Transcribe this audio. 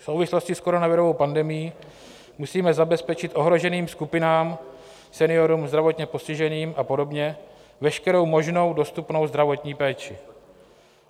V souvislosti s koronavirovou pandemií musíme zabezpečit ohroženým skupinám, seniorům, zdravotně postiženým a podobně veškerou možnou dostupnou zdravotní péči.